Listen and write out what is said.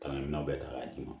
Ka na minɛnw bɛɛ ta k'a d'i ma